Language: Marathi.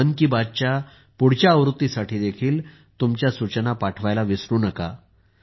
मन की बात च्या पुढील आवृत्तीसाठी देखील तुमच्या सूचना पाठवायला विसरू नका